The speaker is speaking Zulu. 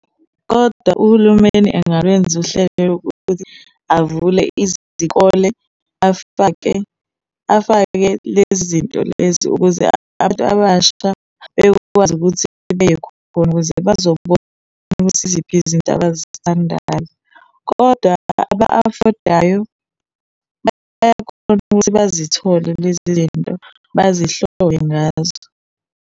Kodwa uhulumeni engalwenza uhlelo lokuthi avule izikole, afake, afake lezi zinto lezi ukuze abantu abasha bekwazi ukuthi beye khona, khona ukuze bazobona ukuthi iziphi izinto abazithandayo. Kodwa aba-afodayo bayakhona ukuthi bazithole lezi zinto, bazihlole ngazo.